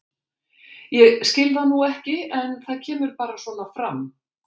Ég skil það nú ekki en það kemur bara svona fram.